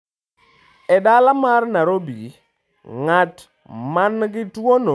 E dala mar Nairobi, ng'at ma nigi tuwono en ja gweng ' mar Githurai 44.